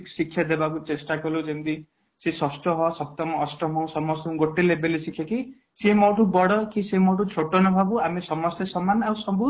basic ଶିକ୍ଷା ଦେବା କୁ ଚେଷ୍ଟା କଲୁ ଯେମିତି ସିଏ ଷଷ୍ଠ ସପ୍ତମ ଅଷ୍ଟମ ସମସ୍ତ ଙ୍କୁ ଗୋଟେ level ରେ ସେତିକି ସିଏ ମୋ ଠୁ ବଡ ସିଏ ମୋ ଠୁ ଛୋଟ ହବ ନ ଭାବୁ ଆମେ ସମସ୍ତେ ସମାନ ଆଉ ସବୁ